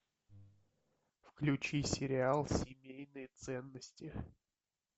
включи сериал семейные ценности